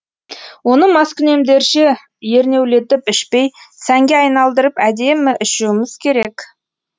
оны маскүнемдерше ернеулетіп ішпей сәнге айналдырып әдемі ішуіміз керек